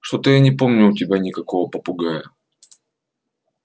что-то я не помню у тебя никакого попугая